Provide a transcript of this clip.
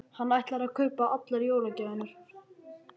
Hann ætlar að kaupa allar jólagjafirnar.